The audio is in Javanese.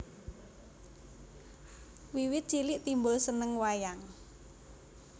Wiwit cilik Timbul seneng wayang